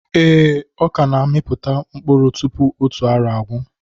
Ee, ọkà na amiputa mkpụrụ tupu otu arọ agwụ